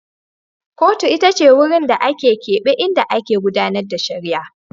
Kotun ita ce wurin da aka keɓe inda ake gudAnar da shari'a